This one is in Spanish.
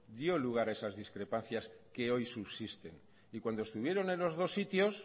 dio lugar a esas discrepancias que hoy subsisten y cuando estuvieron en los dos sitios